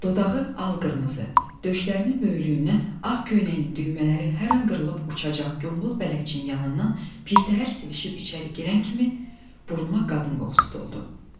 Dodağı al-qırmızı, döşlərinin böyüklüyündən ağ köynəyinin düymələri hər an qırılıb uçacaq qombal bələdçinin yanından pirtəhər sevişib içəri girən kimi buruna qadın qoxusu doldu.